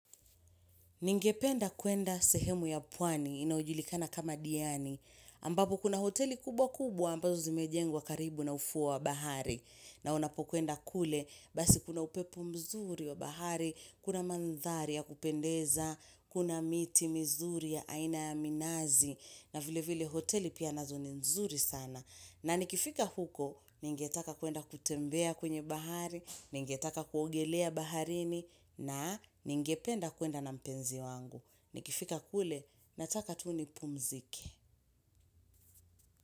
Ningependa kuenda sehemu ya pwani inayojulikana kama diani, ambapo kuna hoteli kubwa kubwa ambazo zimejengwa karibu na ufuo bahari, na unapokuenda kule, basi kuna upepo mzuri wa bahari, kuna mandhari ya kupendeza, kuna miti mizuri ya aina ya minazi, na vile vile hoteli pia nazo ni mzuri sana. Na nikifika huko, ningetaka kuenda kutembea kwenye bahari, ningetaka kuogelea baharini, na ningependa kuenda na mpenzi wangu. Nikifika kule, nataka tu nipumzike.